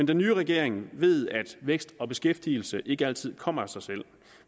den nye regering ved at vækst og beskæftigelse ikke altid kommer af sig selv